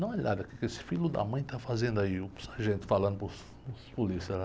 Dá uma olhada o quê que esse filho da mãe está fazendo aí, o sargento falando para os, para os policiais lá.